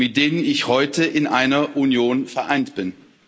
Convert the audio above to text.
mit denen ich heute in einer Union vereint bin.